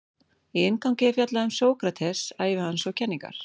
Í inngangi er fjallað um Sókrates, ævi hans og kenningar.